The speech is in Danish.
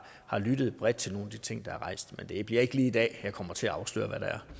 lyttet bredt til nogle af de ting der er blevet rejst men det bliver ikke lige i dag at jeg kommer til at afsløre